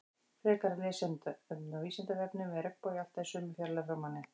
Frekara lesefni á Vísindavefnum: Er regnbogi alltaf í sömu fjarlægð frá manni?